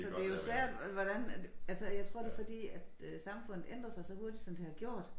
Så det jo svært hvordan at altså jeg tror det fordi at øh samfundet ændrer sig så hurtigt som det har gjort